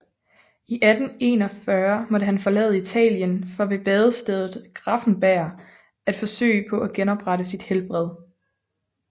I 1841 måtte han forlade Italien for ved badestedet Gräfenberg at forsøge på at genoprette sit helbred